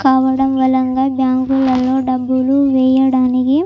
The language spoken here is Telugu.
కావడం వల్ల బ్యాంకులో డబ్బులు వేయడానికి--